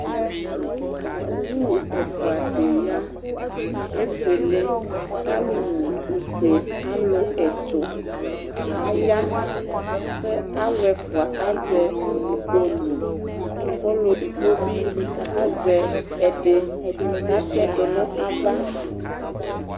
awʋ ɛƒʋa di ya, ɛƒʋɛlɛ kʋ alʋ wʋ ʋsɛ kʋ alʋ ɛtʋ aya kʋ alʋ ɛƒʋa azɛ ikpɔlʋ kʋ ɔlʋ ɛdigbɔ bi azɛ ɛdi kʋ atɛdʋ nʋ aɣa